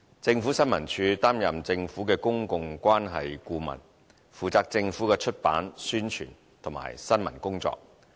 政府新聞處擔任政府的公共關係顧問，負責政府的出版、宣傳和新聞工作。